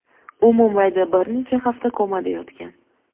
U Mumbayda bir necha hafta komada yotgan.